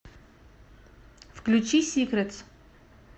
включи сикретс